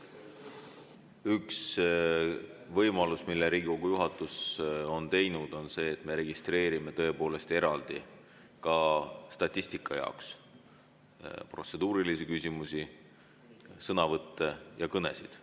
Üks asi, mida Riigikogu juhatus on teinud, on see, et me registreerime ka statistika jaoks eraldi protseduurilisi küsimusi, sõnavõtte ja kõnesid.